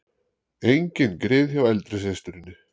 Engin grið hjá eldri systurinni